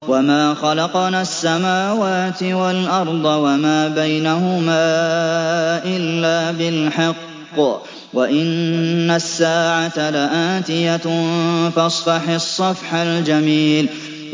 وَمَا خَلَقْنَا السَّمَاوَاتِ وَالْأَرْضَ وَمَا بَيْنَهُمَا إِلَّا بِالْحَقِّ ۗ وَإِنَّ السَّاعَةَ لَآتِيَةٌ ۖ فَاصْفَحِ الصَّفْحَ الْجَمِيلَ